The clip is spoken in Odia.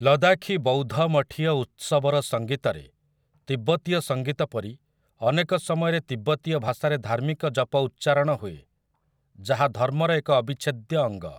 ଲଦାଖୀ ବୌଦ୍ଧମଠୀୟ ଉତ୍ସବର ସଙ୍ଗୀତରେ, ତିବ୍ବତୀୟ ସଂଗୀତ ପରି, ଅନେକ ସମୟରେ ତିବ୍ବତୀୟ ଭାଷାରେ ଧାର୍ମିକ ଜପ ଉଚ୍ଚାରଣ ହୁଏ, ଯାହା ଧର୍ମର ଏକ ଅବିଚ୍ଛେଦ୍ୟ ଅଙ୍ଗ ।